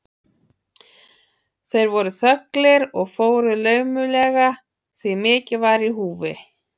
Þeir voru þögulir og fóru laumulega, því mikið var í húfi.